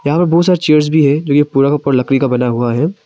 यहां पर बहुत सारा चेयर्स भी है जो कि पूरा का पूरा लकड़ी का बना हुआ है।